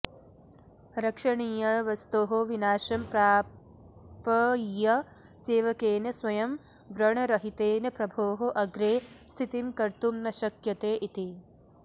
रक्षणीयवस्तोः विनाशं प्रापय्य सेवकेन स्वयं व्रणरहितेन प्रभोः अग्रे स्थितिं कर्तुं न शक्यते इति